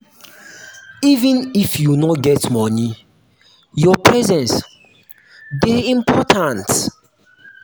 even if you no get moni your presence dey important.